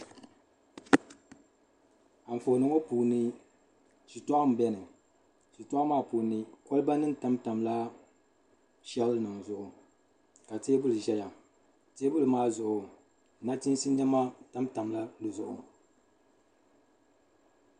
Anfooni ŋɔ puuni shitɔɣu m beni shitɔɣu maa puuni kɔliba nim tamtamla shɛl nim zuɣu ka tɛbuli zaya tɛbuli maa zuɣu nachiisi nɛma tamtamla di zuɣu.